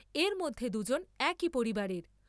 এরমধ্যে দুজন একই পরিবারের ।